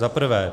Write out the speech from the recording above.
Za prvé.